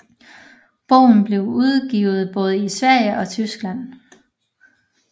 Bogen blev udgivet både i Sverige og Tyskland